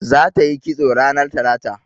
Za ta yi kisto ranar talata